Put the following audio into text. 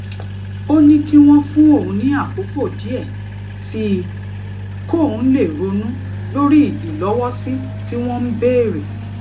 ó ní kí wón fún òun ní àkókò díè sí i kóun lè ronú lórí ìlówósì tí wón ń béèrè